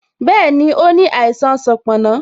Bẹẹni, ó ní àìsàn sanponna